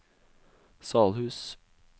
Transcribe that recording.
Salhus